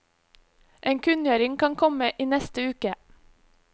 En kunngjøring kan komme i neste uke.